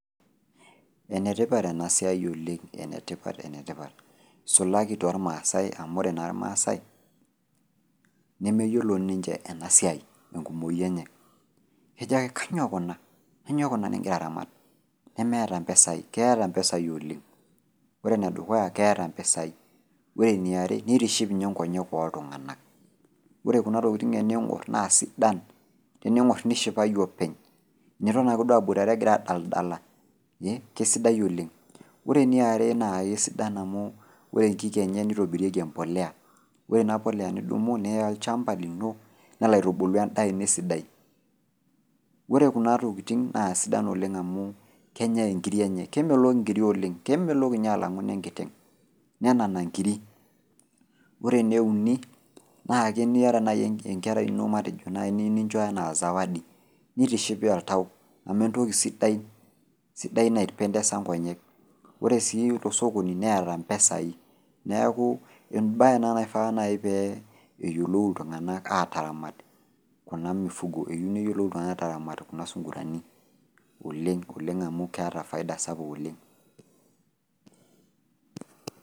Enetipat enasiai oleng', enetipat enetipat. Sulaki tolmasai amu ore naa ilmaasai nemeyiolo ninche enasiai enkumoi enye ejake kanyoo kuna? Kanyoo kuna nigira aramat ? Nemeeta mpesai, keeta mpesai oleng'. Ore nedukuya keeta mpesai. Ore niare neitiship ninye nkonyek ooltung'ana, ore kuna tokitin ening'orr naa sidan tening'orr nishipayu openy niton ake duo igira aboitare egira adaldala eh kesidai oleng'. Ore niare naakesidan amu ore nkik enye neitobirieki empolea, ore inapolea nidumu niya olchamba lino nelo aitubulu endaa ino esidai. Ore kuna tokitin naa sidan oleng' amuu kenyai inkiri enye, kemelok nkiri oleng' kemelok ninye alang'u nenkiteng'! Nenana nkiri. Ore neuni naake eniata enkerai ino matejo nai niyou nincho anaa  zawadi nitiship oltau amu entoki sidai, sidai naipendesa nkonyek. Ore sii tosokoni neeta mpesai, neaku embaye ena naifaa nai pee eyiolou iltung'anak aataramat kuna  mifugo, eyou neyiolou iltung'ana aataramat kuna sungurani oleng' oleng' amu keata  faida sapuk oleng'.